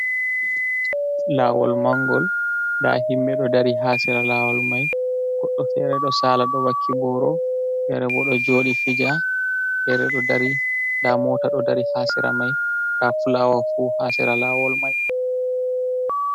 Laawol mangol, ndaa himɓe ɗo dari haa sera laawol mai, goɗɗo fere ɗo saala, ɗo wakki booro, fere bo ɗo jooɗi fija, fere ɗo dari. Ndaa moota ɗo dari haa sera mai, ndaa fulaawa fu haa sera laawol mai.